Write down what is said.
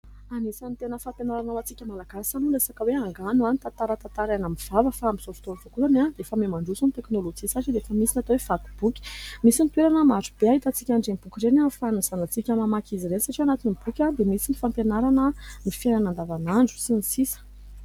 Anisan'ny tena fampianarana ho antsika Malagasy ny resaka hoe angano na ny tantara tantaraina amin'ny vava. Fa amin'izao fotoana izao koa dia efa mihamandroso ny teknôlojia satria dia efa misy ny atao hoe vaky boky. Nisy ny toerana maro be ahitantsika an'ireny boky ireny ahafahan'ny zanatsika mamaky azy ireny, satria ao anatin'ny boky dia misy ny fampianarana ny fiainana andavanandro sy ny sisa.